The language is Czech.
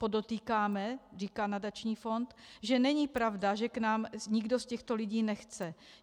Podotýkáme, říká nadační fond, že není pravda, že k nám nikdo z těchto lidí nechce.